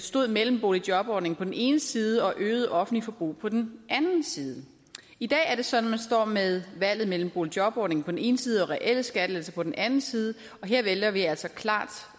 stod mellem boligjobordningen på den ene side og øget offentligt forbrug på den anden side i dag er det sådan at står med valget mellem boligjobordningen på den ene side og reelle skattelettelser på den anden side og her vælger vi altså klart